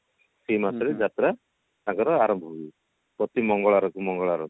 ସେଇ ମାସରେ ଯାତ୍ରା ତାଙ୍କର ଆରମ୍ଭ ହୁଏ ପ୍ରତି ମଙ୍ଗଲବାର କୁ ମଙ୍ଗଳବାର